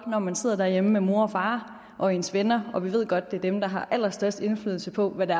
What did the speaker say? når man sidder derhjemme med mor og far og ens venner og vi ved godt at det er dem der har allerstørst indflydelse på hvad det